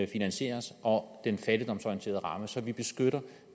finansieres og den fattigdomsorienterede ramme så vi beskytter